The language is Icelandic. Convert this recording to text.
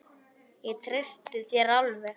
Ég treysti þér alveg!